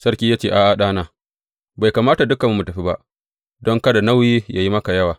Sarki ya ce, A’a ɗana, bai kamata dukanmu mu tafi ba; don kada nauyi yă yi maka yawa.